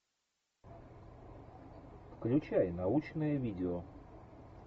включай научное видео